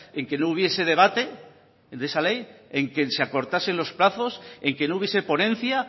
en que no hubiese debate de esa ley en que se acortasen los plazos en que no hubiese ponencia